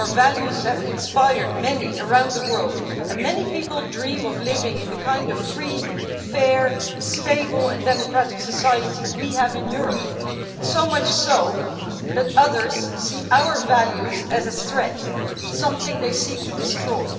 Our values have inspired many around the world, and many people dream of living in the kind of free, fair, stable and democratic society we have in Europe, so much so that others see our values as a threat, something they seek to destroy.